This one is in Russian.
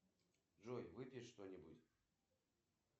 салют кредит дадут